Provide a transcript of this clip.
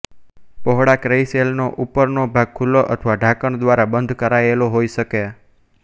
પહોળા ક્રેઇસેલનો ઉપરનો ભાગ ખુલ્લો અથવા ઢાંકણ દ્વારા બંધ કરાયેલો હોઇ શકે